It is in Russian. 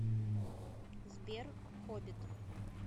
сбер хоббит